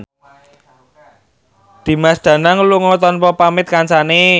Dimas Danang lunga tanpa pamit kancane